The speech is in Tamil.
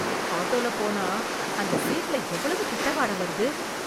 ஆட்டோல போனா அந்த சீட்ல எவ்வளவு கெட்ட வாட வருது